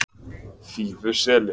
Fífuseli